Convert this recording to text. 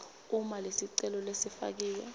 uma lesicelo lesifakiwe